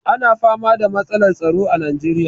Ana fama da matsalar tsaro a najeriya.